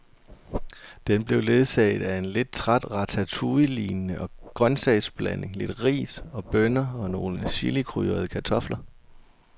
Den blev ledsaget af en lidt træt ratatouillelignende grøntsagsblanding, lidt ris og bønner og nogle chilikrydrede kartofler.